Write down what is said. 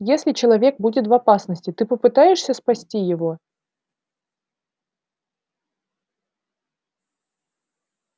если человек будет в опасности ты попытаешься спасти его